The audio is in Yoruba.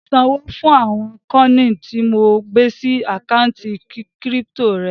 Ṣan owó fún àwọn kọ́ọ̀nì tí mo gbé sí àkántì kírípítò rẹ